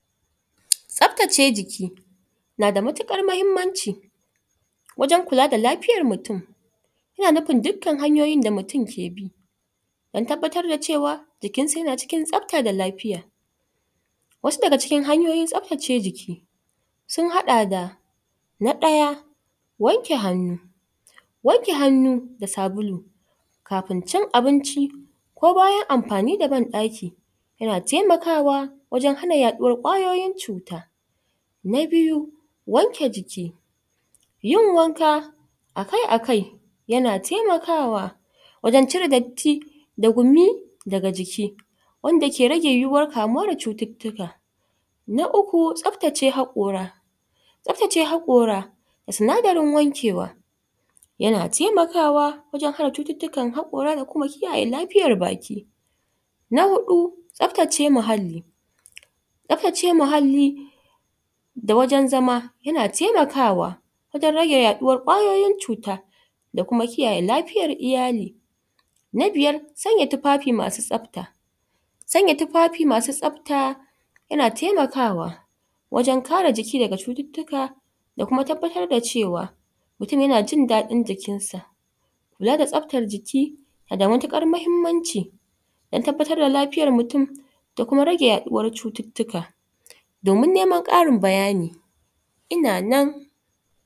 Tsaftace jiki na da matuƙar muhimmanci wajen kula da lafiyar mutum. Yana nufin dukkan hanyoyin da mutum ke bi don tabbatar da cewa jikinsa yana cikin tsafta da lafiya. Wasu daga cikin hanyoyin tsaftace jiki sun haɗa da: na ɗaya, wanke hannu, wanke hannu da sabulu kafin cin abinci ko bayan amfani da ban-ɗaki yana taimakawa wajen hanu yaɗuwar ƙwayoyin cuta. Na biyu, wanke jiki, yin wanka a kai a kai yana taimakwa wajen cire datti da gumi daga jiki. Wanda yake rage yiwuwar kamuwa da cututtuka. Na uku, tsaftace haƙora, tsaftace haƙora, sinadarin wankewa yana taimakawa wajen hana cututtukan haƙora da kuma kiyaye lafiyar baki. Na huɗu, tsaftace muhalli, tsaftace muhalli da wajen zama yana taimakwa wajen rage yaɗuwar ƙwayoyin cuta da kuma kiyaye lafiyar iyali. Na biyar, sanya tufafi masu tsafta, sanya tufafi masu tsafta yana taimakawa wajen kare jiki daga cututtuka da kuma tabbatar da cewa mutum yana jin daɗin jikinsa. Kula da tsaftar jiki na da matuƙar muhimmanci don tabbatar da lafiyar mutum da kuma rage yaɗuwar cututtuka. Domin neman ƙarin bayani, ina nan.